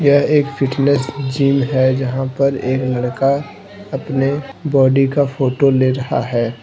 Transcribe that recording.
यह एक fitness gym हैजहां पर एक लड़का अपने बॉडी का फोटो ले रहा है।